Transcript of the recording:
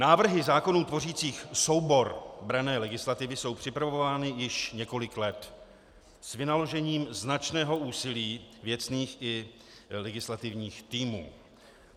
Návrhy zákonů tvořících soubor branné legislativy jsou připravovány již několik let s vynaložením značného úsilí věcných i legislativních týmů.